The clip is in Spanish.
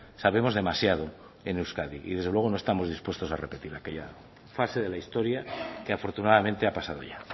sabemos demasiado en euskadi y desde luego no estamos dispuestos a repetir aquella fase de la historia que afortunadamente ha pasado ya